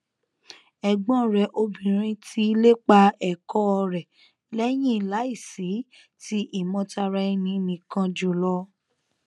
ẹgbọn rẹ obìnrin ti ìlépa ẹkọ rẹ lẹyìn láìsí ti ìmọ tara ẹninìkan jùlọ